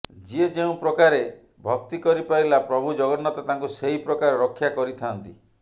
ଯିଏ ଯେଉଁ ପ୍ରକାରେ ଭକ୍ତି କରି ପାରିଲା ପ୍ରଭୁ ଜଗନ୍ନାଥ ତାଙ୍କୁ ସେହି ପ୍ରକାର ରକ୍ଷା କରିଥାଆନ୍ତି